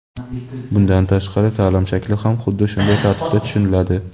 Bundan tashqari taʼlim shakli ham xuddi shunday tartibda tushuniladi.